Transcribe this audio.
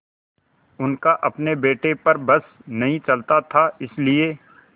उनका अपने बेटे पर बस नहीं चलता था इसीलिए